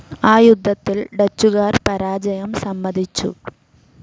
ആ യുദ്ധത്തിൽ ഡച്ചുകാർ പരാജയം സമ്മതിച്ചു.